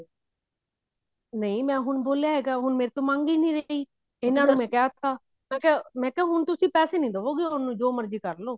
ਨਹੀਂ ਮੈਂ ਹੁਣ ਬੋਲਿਆ ਹੈਗਾ ਹੁਣ ਮੇਰੇ ਤੋਂ ਮੰਗ ਹੀ ਨਹੀਂ ਰਹੀ ਇਹਨਾ ਨੂੰ ਮੈਂ ਕਿਹਤਾ ਮੈਂ ਕਿਹਾ ਮੀਆਂ ਕਿਹਾ ਹੁਣ ਤੁਸੀਂ ਪੈਸੇ ਨੀ ਦਵੋਗੇ ਉਹਨੂੰ ਜੋ ਮਰਜ਼ੀ ਕਰਲੋ